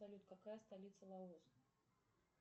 салют какая столица лаос